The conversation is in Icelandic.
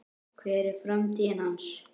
Hver er framtíð hans?